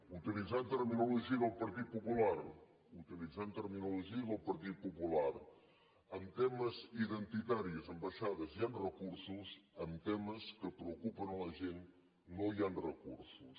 utilitzant terminologia del partit popular utilitzant terminologia del partit popular en temes identitaris ambaixades hi han recur sos en temes que preocupen la gent no hi han recursos